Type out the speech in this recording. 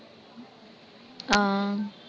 ஆஹ்